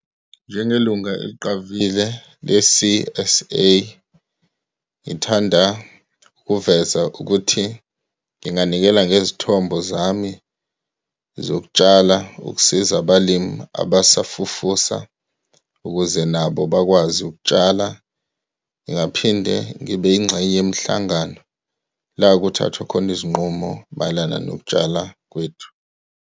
Njengelunga eliqavile le-C_S_A, ngithanda ukuveza ukuthi nginganikela ngezithombo zami zokutshala ukusiza abalimu abasafufusa, ukuze nabo bakwazi ukutshala. Ngingaphinde ngibe yingxenye yemihlangano la kuthathwa khona izinqumo mayelana nokutshala kwethu.